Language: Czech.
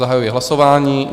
Zahajuji hlasování.